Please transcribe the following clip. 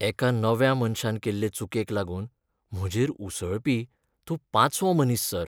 एका नव्या मनशान केल्ले चुकेक लागून म्हजेर उसळपी तूं पांचवो मनीस, सर.